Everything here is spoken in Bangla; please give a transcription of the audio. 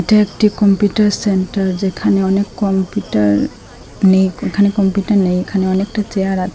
এটা একটি কম্পিউটার সেন্টার যেখানে অনেক কমপিউটার নেই এখানে কমপিউটার নেই এখানে অনেকটা চেয়ার আছে।